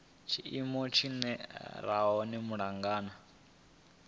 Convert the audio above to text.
tshiimo tshi re hone malugana